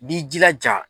I b'i jilaja